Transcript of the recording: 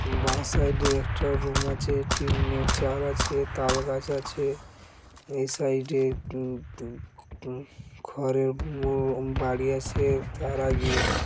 বাঁ সাইড এ একটা রুম আছে। টিনের চাল আছে। তাল গাছ আছে। এ সাইড এ উম উম উম ঘরের উম বাড়ি আছে। তার আগে --